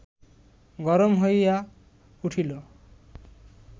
গরম হইয়া উঠিল